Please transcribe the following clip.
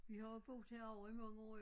Vi har jo boet herovre i mange år